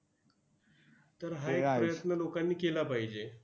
तर हा एक प्रयत्न लोकांनी केला पाहिजे.